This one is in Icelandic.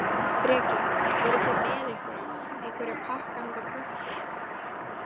Breki: Voruð þið með einhverja, einhverja pakka handa krökkunum?